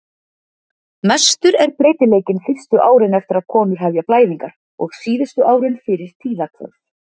Mestur er breytileikinn fyrstu árin eftir að konur hefja blæðingar og síðustu árin fyrir tíðahvörf.